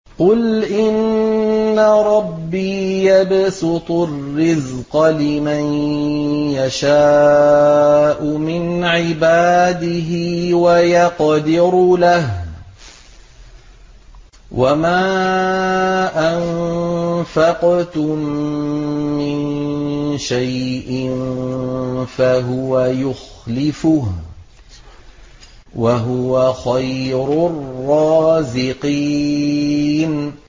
قُلْ إِنَّ رَبِّي يَبْسُطُ الرِّزْقَ لِمَن يَشَاءُ مِنْ عِبَادِهِ وَيَقْدِرُ لَهُ ۚ وَمَا أَنفَقْتُم مِّن شَيْءٍ فَهُوَ يُخْلِفُهُ ۖ وَهُوَ خَيْرُ الرَّازِقِينَ